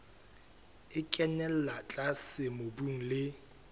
e kenella tlase mobung le